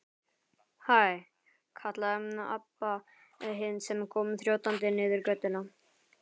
Hæ, kallaði Abba hin sem kom þjótandi niður götuna.